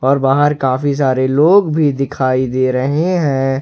और बाहर काफी सारे लोग भी दिखाई दे रहे हैं।